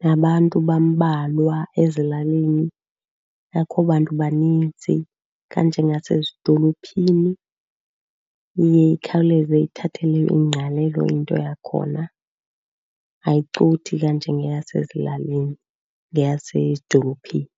Nabantu bambalwa ezilalini, akho bantu banintsi kanje ngasezidolophini. Iye ikhawuleze ithathelwe ingqalelo into yakhona, ayicothi kanjengeyasezilalini. ngeyasedolophini.